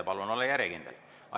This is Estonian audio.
Palun olla järjekindel!